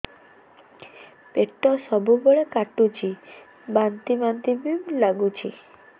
ପେଟ ସବୁବେଳେ କାଟୁଚି ବାନ୍ତି ବାନ୍ତି ବି ଲାଗୁଛି